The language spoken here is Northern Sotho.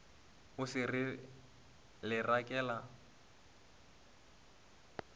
o se re le rekela